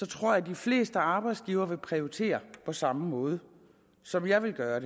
tror de fleste arbejdsgivere ville prioritere på samme måde som jeg ville gøre